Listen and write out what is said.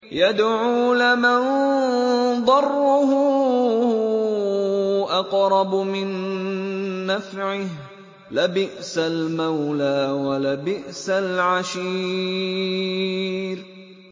يَدْعُو لَمَن ضَرُّهُ أَقْرَبُ مِن نَّفْعِهِ ۚ لَبِئْسَ الْمَوْلَىٰ وَلَبِئْسَ الْعَشِيرُ